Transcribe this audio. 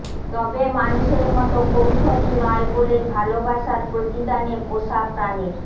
তবে মানুষের মতো কৌশলী নয় বলেই ভালোবাসার প্রতিদানে পোষা প্রাণীর